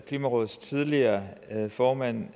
klimarådets tidligere formand